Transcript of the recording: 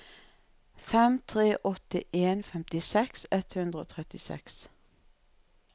fem tre åtte en femtiseks ett hundre og trettiseks